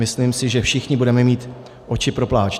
Myslím si, že všichni budeme mít oči pro pláč.